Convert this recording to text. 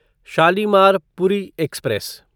Shalimar Puri express